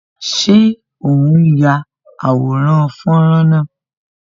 Ṣé o n ya àwòrán fọ́nrán náà?